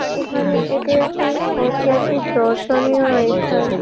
এখানে এটা একটি ঐতিহাসিক দর্শনীয় স্থান।